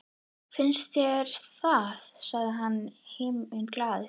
Finnst þér það? sagði hann himinglaður.